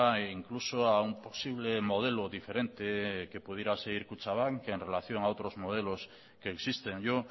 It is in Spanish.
e incluso a un posible modelo diferente que pudiera seguir kutxabank en relación a otros modelos que existen yo